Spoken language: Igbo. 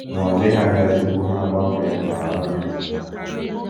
Ma ọ dịghị anya tupu ha agbanwee, ka ọ na - echeta.